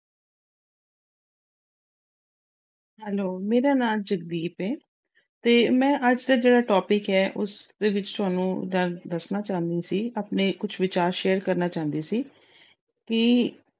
Hello ਮੇਰਾ ਨਾਮ ਜੱਗਦੀਪ ਏ ਤੇ ਮੈਂ ਅੱਜ ਦਾ ਜਿਹੜਾ topic ਏ, ਉਸਦੇ ਵਿੱਚ ਤੋਨੂੰ ਦੱਸਣਾ ਚਾਹੁੰਦੀ ਸੀ। ਆਪਣੇ ਕੁਝ ਵਿਚਾਰ share ਕਰਨਾ ਚਾਹੁੰਦੀ ਸੀ ਕਿ